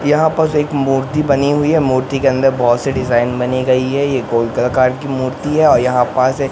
यहां एक मूर्ती बनी हुई है मूर्ती के अंदर बहोत से डिजाइन बने गई हैं ये गोल की मूर्ती है और यहां पास एक--